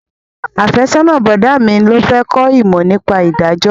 Afẹ́sọ́nà bọ̀dá mi ló fẹ́ kó ìmọ̀ nípa ìdájọ́